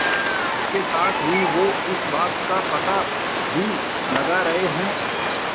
इसके साथ ही वो इस बात का पता भी लगा रहे हैं